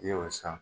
I y'o san